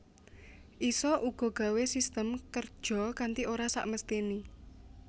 Isa uga gawé system kerja kanti ora sakmestiné